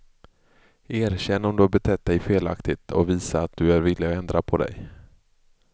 Erkänn om du har betett dig felaktigt och visa att du är villig att ändra på dig.